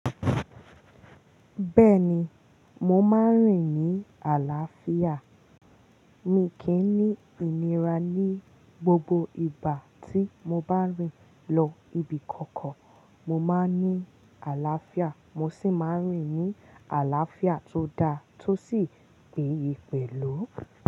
Bẹ́ẹ̀ni, mo máa ń rìn ní àlàáfíà. Mi kì í ní ìnira ní gbogbo ìgbà tí mo bá rìn lọ ibi kankan. Mo máa ń ní àlàáfíà, mo sì máa ń rìn ní àlàáfíà tó dá tó sì pèèyè pẹlú.